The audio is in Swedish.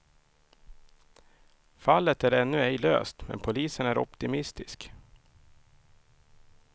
Fallet är ännu ej löst, men polisen är optimistisk.